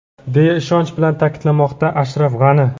deya ishonch bilan ta’kidlamoqda Ashraf G‘ani.